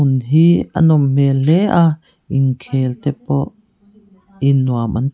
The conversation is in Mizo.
in hi a nawm hmel hle a inkhel te pawh in nuam an ti--